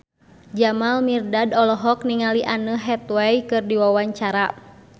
Jamal Mirdad olohok ningali Anne Hathaway keur diwawancara